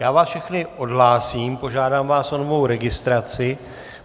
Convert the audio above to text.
Já vás všechny odhlásím, požádám vás o novou registraci.